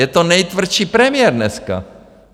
Je to nejtvrdší premiér dneska.